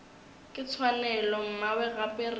ke tshwanelo mmawe gape re